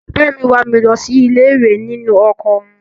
Bàbá mi wà mí lọ sí ilé-ìwé nínú ọkọ̀ wọn.